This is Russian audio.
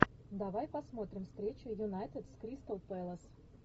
давай посмотрим встречу юнайтед с кристал пэлас